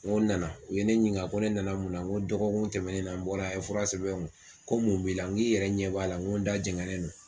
N ko n nana u ye ne ɲininka ko ne nana mun na n ko dɔgɔkun tɛmɛnen na n bɔra yan a' ye fura sɛbɛn n kun ko mun b'i n ko aw yɛrɛ ɲɛ b'a la n ko da jɛngɛnen no.